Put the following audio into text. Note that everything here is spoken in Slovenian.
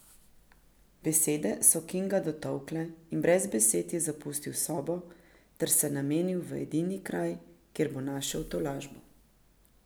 Besede so Kinga dotolkle in brez besed je zapustil sobo ter se namenil v edini kraj, kjer bo našel tolažbo.